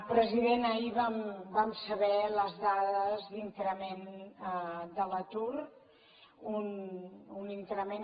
president ahir vam saber les dades d’increment de l’atur un increment